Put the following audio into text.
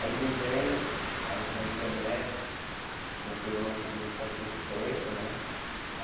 Aí desenho, aí entro na internet, comprei um notebook faz pouco tempo, né?